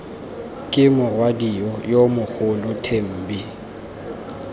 ke morwadio yo mogolo thembi